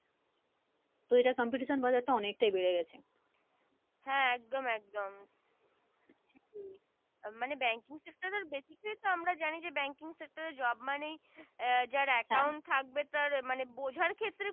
তো এটার competition বাজার টা অনেকটাই বেরে গেছে হ্যা একদম একদম মানে banking sector basic টাই আমরা জানি Banking sector এ job মানে আহ যার account থাকবে তার মানে মানে বোঝার ক্ষেত্রে